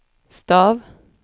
stav